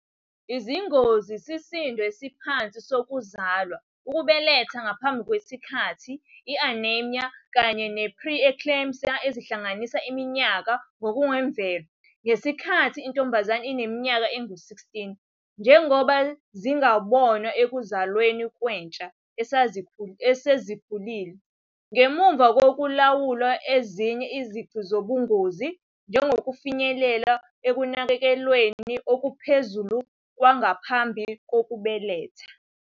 Izingozi isisindo esiphansi sokuzalwa, Ukubeletha ngaphambi kwesikhathi, i-anemia, kanye ne-pre-eclampsia azihlangene iminyaka engokwemvelo ngesikhathi intombazane ineminyaka engu-16, njengoba zingabonwa ekuzalweni kwentsha esezikhulile ngemuva kokulawula ezinye izici zobungozi, njengokufinyelela ekunakekelweni okuphezulu kwangaphambi kokubeletha